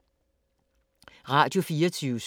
Radio24syv